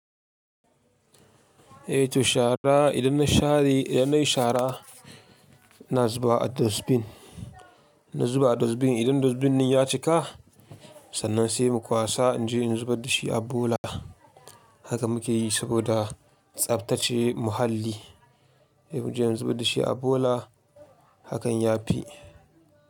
Eh to shara idan na share, idan nayi shara na zuba a dustbin, in na zuba a dustbin idan dustbin ɗin ya cika sannan sai mu kwasa in je in zubar da shi a bola. Haka muke yi saboda tsaftace muhalli. Mu je mu zubar da shi a bola hakan ya fi.